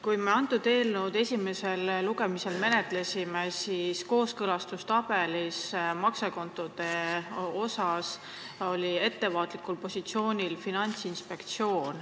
Kui me seda eelnõu esimesel lugemisel menetlesime, siis oli Finantsinspektsioon kooskõlastustabeli järgi maksekontode osas ettevaatlikul positsioonil.